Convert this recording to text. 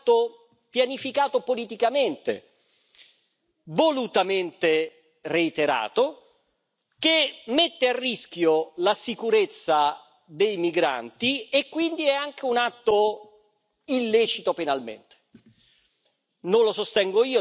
Il secondo è invece un atto pianificato politicamente, volutamente reiterato, che mette a rischio la sicurezza dei migranti e quindi è anche un atto illecito penalmente.